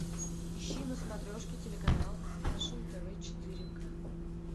ищи на смотрешке телеканал фэшн тв четыре к